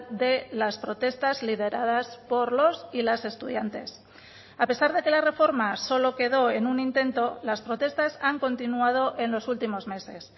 de las protestas lideradas por los y las estudiantes a pesar de que la reforma solo quedó en un intento las protestas han continuado en los últimos meses